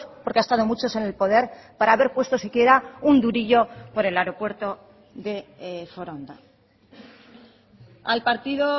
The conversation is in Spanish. porque ha estado muchos en el poder para haber puesto si quiera un durillo por el aeropuerto de foronda al partido